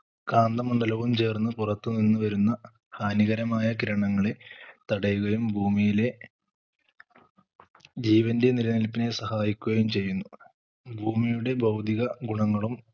കാന്തമണ്ഡലവും ചേർന്ന് പുറത്തു നിന്ന് വരുന്ന ഹാനികരമായ ഗ്രണങ്ങളെ തടയുകയും ഭൂമിയിലെ ജീവന്റെ നിലനിൽപ്പിനെ സഹായിക്കുകയും ചെയ്യുന്നു. ഭൂമിയുടെ ഭൗതിക ഗുണങ്ങളും